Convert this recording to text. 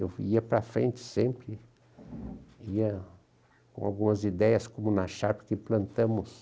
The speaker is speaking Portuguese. Eu ia para frente sempre, ia com algumas ideias, como na Sharpe, que implatamos.